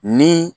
Ni